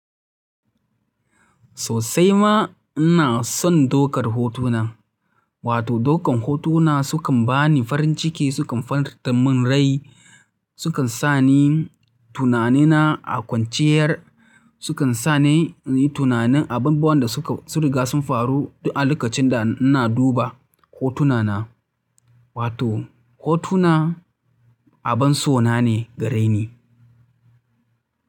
Sosai ma ina son dokar hotuna, wato dokan hotuna sukan bani farin ciki, sukan farantamin rai, sukan sa ni tunanina a kwanciyar, sukan sa ni inyi tunanin abubuwan da suka sun riga sun faru duk a lokacin da ina duba hotunana. Wato hotuna abin so na ne gareni.